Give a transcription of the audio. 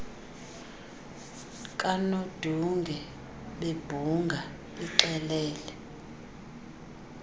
kanodunge bebhunga ixelele